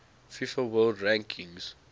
fifa world rankings